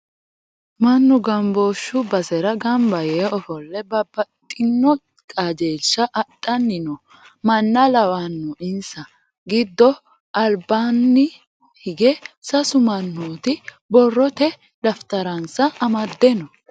Mannu gambooshshu basera gamba yee ofolle babbaxino qajeelsha adhanni no manna lawanno insa giddo albaannibhigge sasu mannooti borrote dafitaransa amadde no.